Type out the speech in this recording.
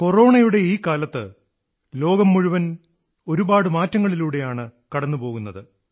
കൊറോണയുടെ ഈ കാലത്ത് ലോകം മുഴുവൻ അനേകം മാറ്റങ്ങളിലൂടെയാണ് കടന്നുപോകുന്നത്